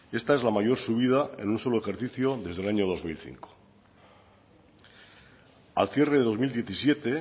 esta es la mayor subida en un solo ejercicio desde el año dos mil cinco al cierre de dos mil diecisiete